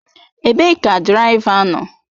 Ebee ka diraịva nọ?